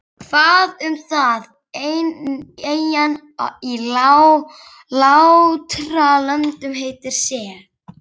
Hvað um það, ein eyjan í Látralöndum heitir Sel.